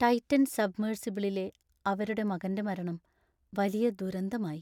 Titan സബ്മെർസിബിളിലെ അവരുടെ മകൻ്റെ മരണം വലിയ ദുരന്തമായി.